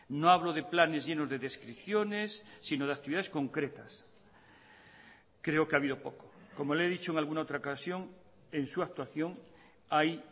no hablo de planes llenos de descripciones sino de actividades concretas creo que ha habido poco como le he dicho en alguna otra ocasión en su actuación hay